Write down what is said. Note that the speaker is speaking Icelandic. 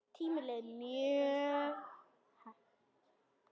Tíminn leið mjög hægt.